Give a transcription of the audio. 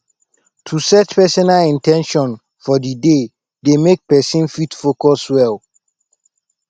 to set personal in ten tions for di day dey make persin fit focus well